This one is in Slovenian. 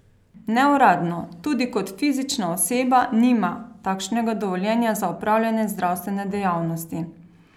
Neuradno tudi kot fizična oseba nima takšnega dovoljenja za opravljanje zdravstvene dejavnosti.